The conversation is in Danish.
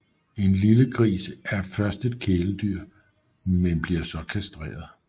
En lille gris er først et kæledyr men bliver så kastreret